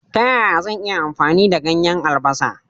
Ta yaya zan iya amfani da ganyen albasa?